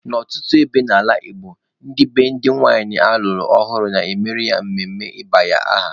N'ọtụtụ ebe n'ala Igbo, ndị be di nwanyị alụrụ ọhụrụ na-emere ya emume ịba aha.